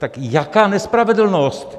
Tak jaká nespravedlnost!